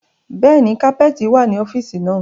Bẹ́ẹ̀ni, kapẹ́ẹ́tì wá ní ọ́fíìsì náà.